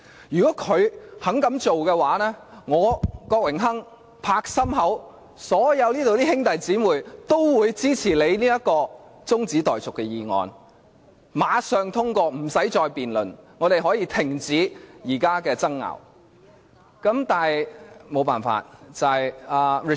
如果他們肯這樣做的話，我，郭榮鏗議員可以保證，這裏所有兄弟姊妹都會支持你這項中止待續議案，馬上通過，不需要再辯論，現在的爭拗可以立即停止。